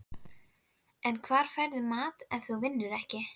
En hvar færðu mat ef þú vinnur ekki?